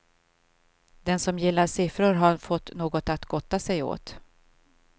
Den som gillar siffror har fått något att gotta sig åt.